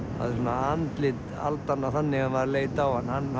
andlit aldanna þannig að maður leit á hann hann